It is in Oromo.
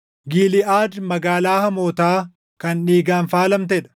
Giliʼaad magaalaa hamootaa kan dhiigaan faalamtee dha.